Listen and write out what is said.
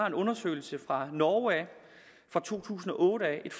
en undersøgelse fra norge i to tusind og otte et